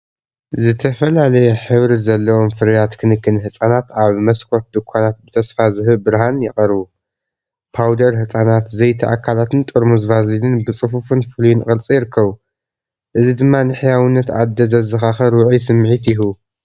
ዝተፈላለየ ሕብሪ ዘለዎም ፍርያት ክንክን ህጻናት ኣብ መስኮት ድኳናት ብተስፋ ዝህብ ብርሃን ይቐርቡ። ፓውደር ህጻናት፡ ዘይቲ ኣካላትን ጥርሙዝ ቫዝሊንን ብጽፉፍን ፍሉይን ቅርጺ ይርከቡ፡ እዚ ድማ ንሕያውነት ኣደ ዘዘኻኽር ውዑይ ስምዒት ይህቡ።